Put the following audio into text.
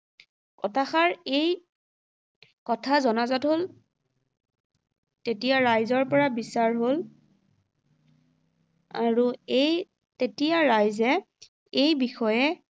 কথাষাৰ এই কথা জনাজাত হ’ল তেতিয়া ৰাইজৰ পৰা বিচাৰ হ’ল আৰু এই তেতিয়া ৰাইজে এই বিষয়ে